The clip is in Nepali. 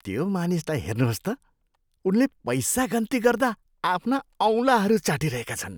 त्यो मानिसलाई हेर्नुहोस् त। उनले पैसा गन्ती गर्दा आफ्ना औँलाहरू चाटिरहेका छन्।